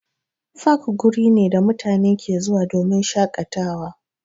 Fak wuri ne da mutane ke zuwa domin shaƙatawa.